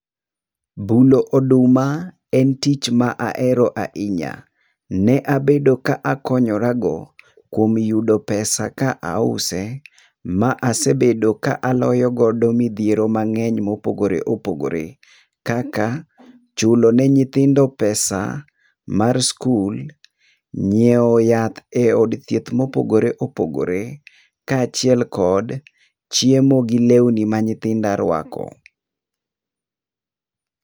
Bulo oduma en tich ma ahero ahinya. Ne abedo ka akonyorago kuom yudo pesa ka ause. Ma asebedo ka aloyo godo midhiero mang'eny mopogore opogore kaka, chulo ne nyithindo pesa mar skul, nyiewo yath eod thieth mopogore opogore kaachiel kod chiemo gi lewni ma nyithinda rwako.